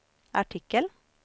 artikel